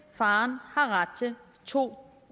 faderen har ret til to